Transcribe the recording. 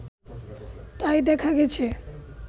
তাই দেখা গেছে